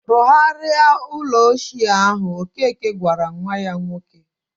"Rụgharia ụlọ ochie ahụ," ọkeke gwara nwa ya nwoke.